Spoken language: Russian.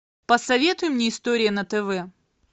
посоветуй мне история на тв